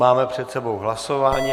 Máme před sebou hlasování.